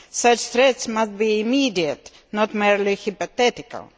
Such threats must be immediate, not merely hypothetical.